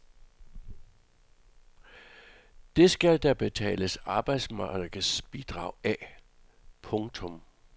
Det skal der betales arbejdsmarkedsbidrag af. punktum